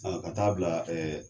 ka ta bila .